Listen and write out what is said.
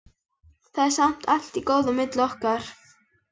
Það er samt allt í góðu á milli okkar.